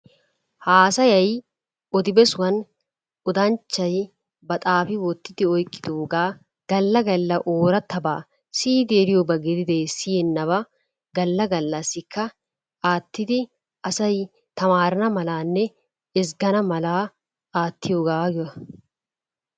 Haasayay odi besuwan odanchchay ba xaafi wottidi oyqqidoogaa galla galla oorattabaa siyidi eriyoba gididee siyennabaa galla gallassikka aattidi asay tamaarana malaanne ezggana malaa aattiyogaa giyogaa.